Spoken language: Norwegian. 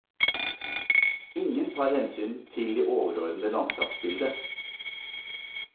Ingen tar hensyn til det overordnede landskapsbildet.